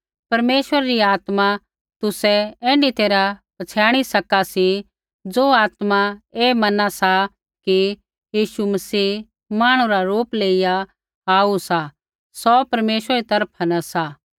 परमेश्वरै री आत्मा तुसै ऐण्ढी तैरहा पछ़ियाणी सका सी ज़ो आत्मा ऐ मना सा कि यीशु मसीह मांहणु रा रूप लेयिआ आऊ सा सौ परमेश्वरा री तरफा न सा